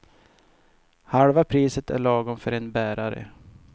Halva priset är lagom för en bärare.